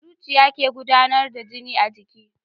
Zuciya ke gudAnar da jini a jiki